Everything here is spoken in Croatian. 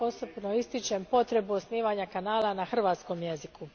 Ja posebno ističem potrebu osnivanja kanala na hrvatskom jeziku.